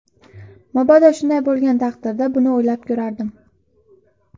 Mabodo shunday bo‘lgan taqdirda, buni o‘ylab ko‘rardim.